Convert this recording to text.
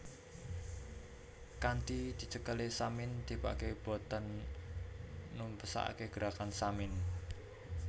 Kanthi dicekelé Samin tibaké boten numpesake Gerakan Samin